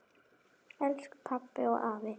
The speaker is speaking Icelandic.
Elsku pabbi og afi.